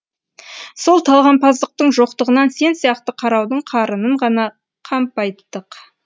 сол талғампаздықтың жоқтығынан сен сияқты қараудың қарынын ғана қампайттық